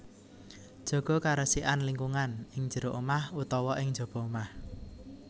Jaga karesikan lingkungan ing jero omah utawa ing njaba omah